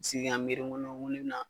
Sigi ka miiri ŋo ŋo ne be na